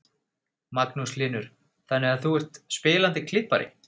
Magnús Hlynur: Þannig að þú ert spilandi klippari?